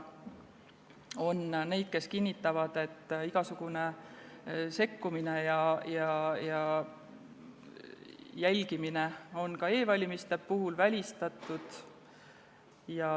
On neid, kes kinnitavad, et igasugune sekkumine ja jälgimine on ka e-valimiste puhul välistatud.